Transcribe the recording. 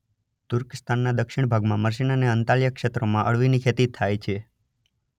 તુર્કસ્તાનના દક્ષિણ ભાગમાં મર્સીન અને અન્તાલ્યા ક્ષેત્રોમાં અળવીની ખેતી થાય છે.